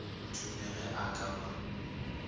dume ge a ka ba